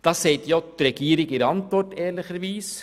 Das sagt ja auch die Regierung in ihrer Antwort ehrlicherweise.